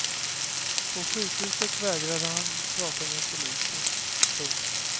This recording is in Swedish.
På sjukhuset vägrade han prata med polisen. punkt